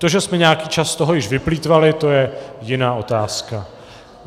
To, že jsme nějaký čas z toho již vyplýtvali, to je jiná otázka.